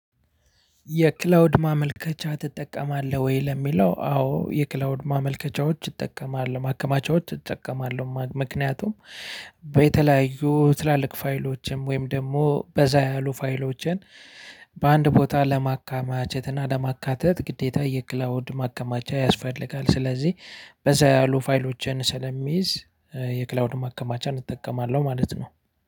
የክላውድ ማመልከቻ ትጠቀማለህ ወይ ለሚለው? አዎ የክላውድ ማመልከቻዎች እጠቀማለሁ ማከማቻዎች እጠቀማለሁ ምክንያቱም በተለያዩ ትላልቅ ፋይሎችም ወይም ደግሞ በዛ ያሉ ፋይሎችን። በአንድ ቦታ ለማካማቸት እና ለማካተት ግዴታ የክላውድ ማከማቻ ያስፈልጋል። ስለዚህ በዛ ያሉ ፋይሎችን ስለሚይዝ የክላውድ ማከማቻን እጠቀማለሁ ማለት ነው።